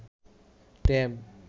tab